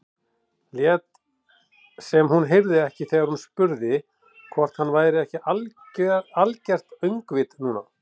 Lét sem hún heyrði ekki þegar hann spurði hvort hann væri ekki algert öngvit núna.